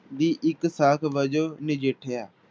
ਦੀ ਇੱਕ ਸਾਕ ਵਜੋਂ ਨਜਿਠਿਆ।